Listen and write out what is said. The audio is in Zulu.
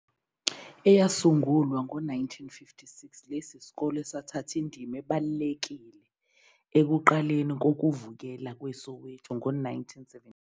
Eyasungulwa ngo-1956, lesi sikole sathatha indima ebalulekile ekuqaleni kokuvukela kweSoweto ngo-1976.